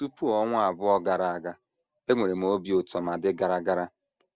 Tupu ọnwa abụọ gara aga, enwere m obi ụtọ ma dị gara gara.